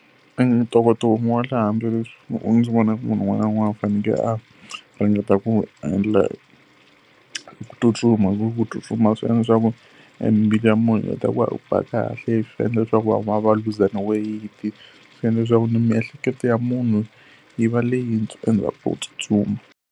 E ntokoto wun'we wa le handle leswi u ndzi vonaku munhu un'wana na un'wana u fanele a ringeta ku wu endla i ku tsutsuma. Hi ku ku tsutsuma swi endla leswaku e mbilu ya munhu heta ku va yi ba kahle, swi endla leswaku van'wana va luza na weyiti, swi endla leswaku na miehleketo ya munhu yi va leyi tsutsuma.